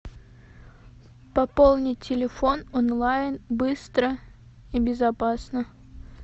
пополни телефон онлайн быстро и безопасно